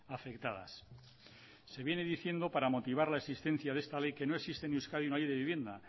afectadas se viene diciendo para motivar la existencia de esta ley que no existe en euskadi una ley de vivienda